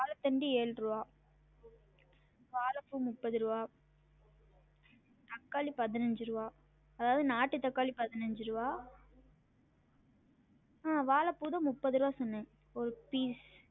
வாழைத்தண்டு ஏழ் ருவா வாழப்பூ முப்பது ருவா தக்காளி பதினஞ்சு ருவா அதாவது நாட்டு தக்காளி பதினஞ்சு ருவா ஆஹ் வாழப்பூ தான் முப்பது ருவா சொன்னன் ஒரு piece